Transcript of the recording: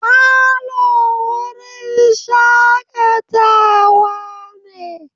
Falo wurin shakatawa ne.